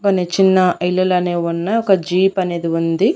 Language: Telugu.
కొన్ని చిన్న ఇల్లలనేవున్న ఒక జీప్ అనేది ఉంది.